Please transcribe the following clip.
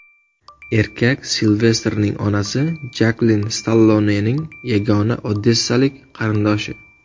Erkak Silvestrning onasi Jaklin Stallonening yagona odessalik qarindoshi.